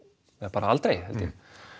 bara aldrei held ég